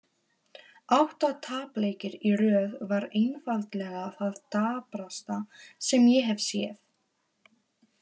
Átta tapleikir í röð var einfaldlega það daprasta sem ég hef séð.